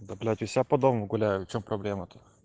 ну блять у себя под домом гуляю в чем проблема то